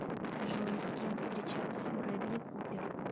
джой с кем встречался брэдли купер